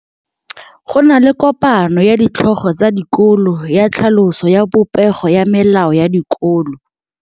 Go na le kopanô ya ditlhogo tsa dikolo ya tlhaloso ya popêgô ya melao ya dikolo.